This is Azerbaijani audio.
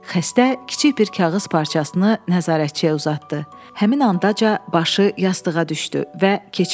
Xəstə kiçik bir kağız parçasını nəzarətçiyə uzatdı, həmin ancaq başı yastığa düşdü və keçindi.